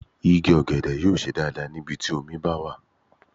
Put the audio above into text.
Igi ọ̀gẹ̀dẹ̀ yóò ṣe dáadáa ní ibi tí omi bá wà.